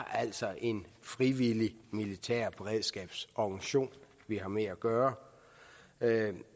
altså er en frivillig militær beredskabsorganisation vi har med at gøre